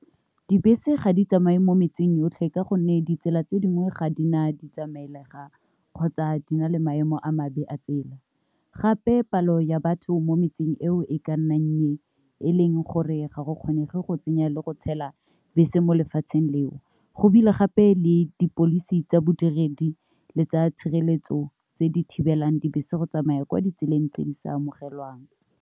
Dibese ga di tsamaye mo metseng yotlhe ka gonne ditsela tse dingwe ga di na di tsamaelega kgotsa di na le maemo a mabe a tsela, gape palo ya batho mo metseng eo e ka nnang nnye gore ga go kgonege go tsenya le go tshela bese mo lefatsheng leo, go ebile gape le di policy tsa bodiredi le tsa tshireletso tse di thibelang dibese go tsamaya kwa ditseleng tse di sa amogelwang.